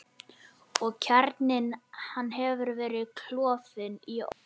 Og kjarninn hann hefur verið klofinn í ótal mola, miskunnarlaust.